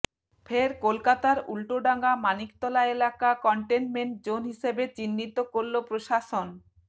ফের কলকাতার উল্টোডাঙা মানিকতলা এলাকা কনটেইমেন্ট জোন হিসাবে চিহ্নিত করল প্রশাসন